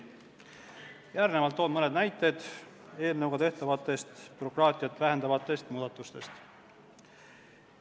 Järgnevalt toon mõne näite eelnõuga tehtavate bürokraatiat vähendavate muudatuste kohta.